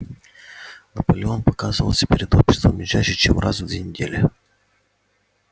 наполеон показывался перед обществом не чаще чем раз в две недели